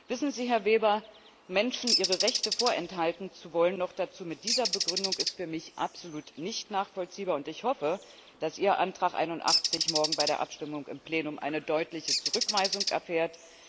Wissen Sie, Herr Weber, Menschen ihre Rechte vorenthalten zu wollen, noch dazu mit dieser Begründung, ist für mich absolut nicht nachvollziehbar, und ich hoffe, dass Ihr Antrag 81 morgen bei der Abstimmung im Plenum eine deutliche Zurückweisung erfährt.